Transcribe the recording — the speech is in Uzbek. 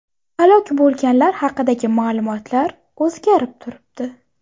Halok bo‘lganlar haqidagi ma’lumotlar o‘zgarib turibdi.